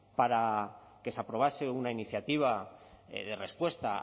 para que se aprobase una iniciativa de respuesta